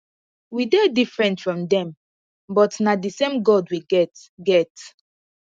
we dey different from dem but na the same god we get get